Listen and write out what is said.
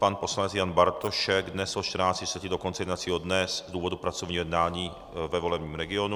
Pan poslanec Jan Bartošek dnes od 14.30 do konce jednacího dne z důvodu pracovního jednání ve volebním regionu.